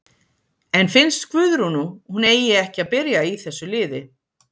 En finnst Guðrúnu hún eigi ekki að byrja í þessu liði?